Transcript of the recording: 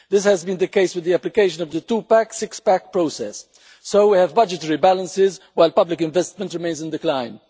This has been the case with the application of the two-pack and six-pack process, so we have budgetary balances while public investment remains in decline.